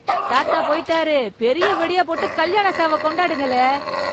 தாத்தா போயிட்டாரு, பெரிய வெடியா போட்டு கல்யாண சாவ கொண்டாடுங்கலே.